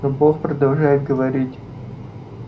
но бог продолжает говорить